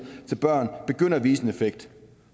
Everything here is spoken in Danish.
til børn begynder at vise en effekt